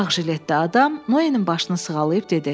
Ağ jiletdə adam Noyenin başını sığalayıb dedi: